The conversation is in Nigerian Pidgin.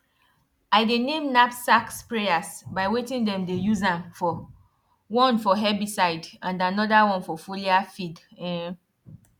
i dey name knapsack sprayers by wetin dem dey use am for one for herbicide and another one for foliar feed um